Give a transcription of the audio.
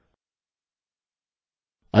अतः आप स्ट्रिंग में जगह निर्दिष्ट कर सकते हैं